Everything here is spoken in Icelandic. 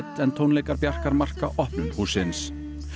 en tónleikar Bjarkar marka opnun hússins